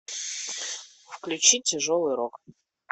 включи тяжелый рок